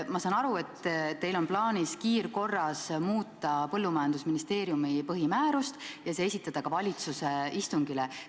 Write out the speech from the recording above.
Ma saan aru, et teil on plaanis kiirkorras muuta Maaeluministeeriumi põhimäärust ja esitada see muudatus ka valitsuse istungile.